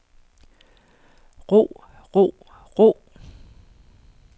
ro ro ro